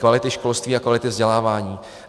Kvality školství a kvality vzdělávání.